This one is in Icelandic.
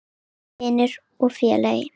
Ágæti vinur og félagi.